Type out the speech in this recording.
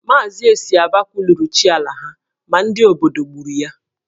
Maazị Esiaba kwuluru chi ala ha ma ndị obodo gburu ya.